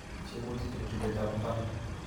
tiegutik eng' chobeetap mbar